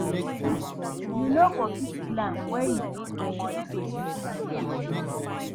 You no go fit plan when you no know money wey dey enter